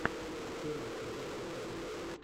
первый эпизод кикиду